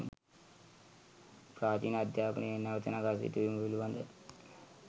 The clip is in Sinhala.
ප්‍රාචීන අධ්‍යාපනය නැවත නඟා සිටුවීම පිළිබඳව